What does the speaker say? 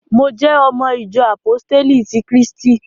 Mo jẹ́ ọmọ ìjọ àpóstélì ti krístì